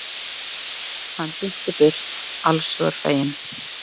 Hann synti burt allshugar feginn.